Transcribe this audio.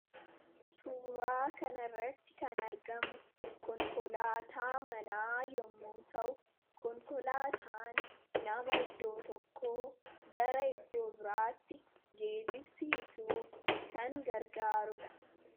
suuraa kanarratti kan argamu konkolaataa manaa yommu ta'u konkolaataan nama iddoo tokkoo gara iddoo biraatti geejibsiisuuf kan gargaaruudha